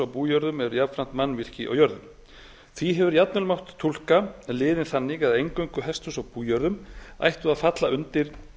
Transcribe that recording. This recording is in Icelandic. bújörðum eru jafnframt mannvirki á jörðunum því hefur jafnvel mátt túlka liðinn þannig að eingöngu hesthús á bújörðum ættu að falla undir